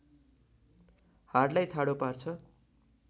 हाडलाई ठाडो पार्छ